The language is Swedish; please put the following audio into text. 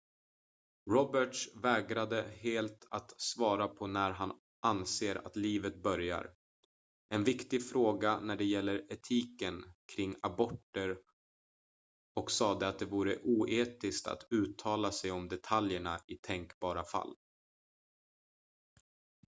roberts vägrade helt att svara på när han anser att livet börjar en viktig fråga när det gäller etiken kring aborter och sade att det vore oetiskt att uttala sig om detaljerna i tänkbara fall